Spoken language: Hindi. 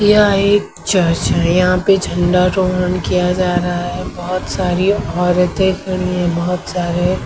यह एक चर्च है यहां पे झंडा रोहन किया जा रहा है बहोत सारी औरतें बहोत सारे--